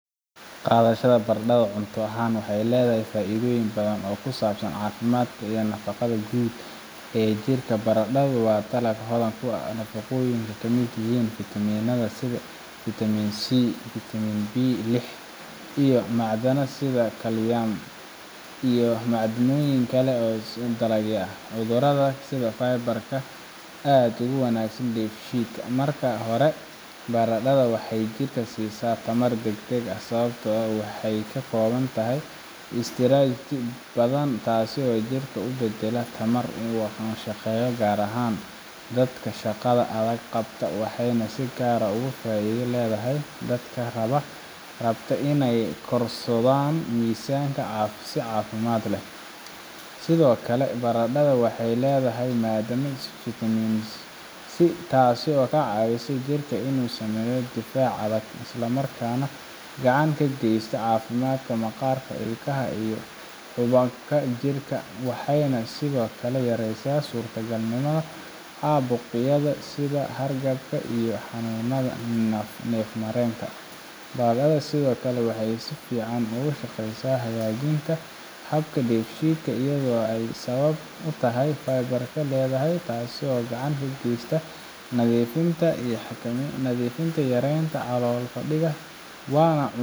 qaadashada baradhada cunto ahaan waxay leedahay faa’iidooyin badan oo ku saabsan caafimaadka iyo nafaqada guud ee jidhka baradhadu waa dalag hodan ku ah nafaqooyin ay ka mid yihiin fitamiinada sida fitamiin si, fitamiin bii lix, iyo macdanaha sida kaaliyam iyo maaddooyinka kale ee la dagaalama cudurrada sida fiber-ka oo aad ugu wanaagsan dheefshiidka marka hore baradhada waxay jirka siisaa tamar degdeg ah sababtoo ah waxa ay ka kooban tahay istaarij badan taasoo jidhka u beddela tamar uu ku shaqeeyo gaar ahaan dadka shaqada adag qabta waxayna si gaar ah faa’iido ugu leedahay dadka rabta inay korodhsadaan miisaanka si caafimaad leh sidoo kale baradhada waxay leedahay maadada fitamiin si taasoo ka caawisa jirka inuu sameeyo difaac adag isla markaana gacan ka geysata caafimaadka maqaarka, ilkaha, iyo xuubabka jirka waxayna sidoo kale yareysaa suurtagalnimada caabuqyada sida hargabka iyo xanuunada neefmareenka baradhada sidoo kale waxay si fiican ugu shaqeysaa hagaajinta habka dheefshiidka iyadoo ay sabab u tahay fiber-ka ay leedahay taasoo gacan ka geysata nadiifinta xiidmaha iyo yareynta calool fadhiga waana cunto